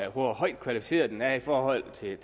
hvor højt kvalificeret den er i forhold til